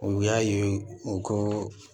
U y'a ye u ko